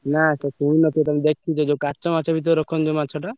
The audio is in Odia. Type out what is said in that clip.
ନା ସେ ଶୁଣିନଥିବ ତମେ ଦେଖିଛ ଯୋଉ କାଚ ମାଚ ଭିତରେ ରଖନ୍ତି ଯୋଉ ମାଛଟା।